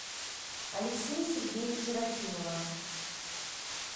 алексея сергеевича рахимова